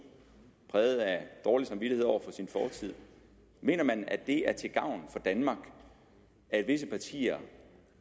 præget af dårlig samvittighed over for sin fortid mener ordføreren at det er til gavn for danmark at visse partier